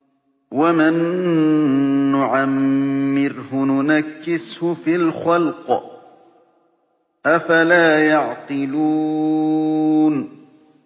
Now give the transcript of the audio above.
وَمَن نُّعَمِّرْهُ نُنَكِّسْهُ فِي الْخَلْقِ ۖ أَفَلَا يَعْقِلُونَ